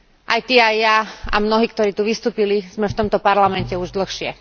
Aj ty, aj ja a mnohí, ktorí tu vystúpili, sme v tomto Parlamente už dlhšie.